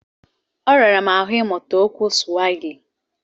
Ọ rara m ahụ ịmụta okwu Suwahili.